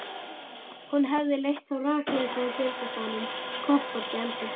Hún hefði leitt þá rakleiðis að geymslustaðnum, kofforti í eldhúsinu.